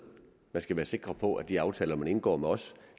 man skal være sikker på at de aftaler man indgår med os